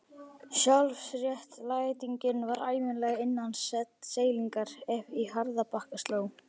Sjálfsréttlætingin var ævinlega innan seilingar ef í harðbakka sló.